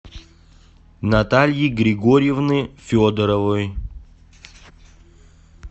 натальи григорьевны федоровой